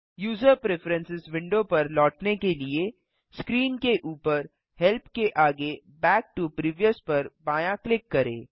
user preferences window पर लौटने के लिए स्क्रीन के ऊपर हेल्प के आगे बैक टो प्रीवियस पर बायाँ क्लिक करें